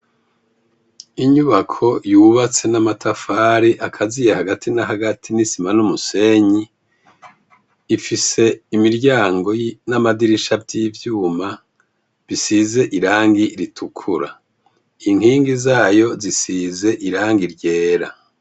Inyubako yubatse n'amatafari akaziye hagati na hagati n'isima n'umusenyi, ifise imiryango n'amadirisha vy'ivyuma bisize irangi ritukura, inkingi zayo zisize irangi ryera.